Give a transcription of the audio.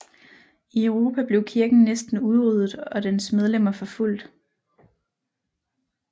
I Europa blev kirken næsten udryddet og dens medlemmer forfulgt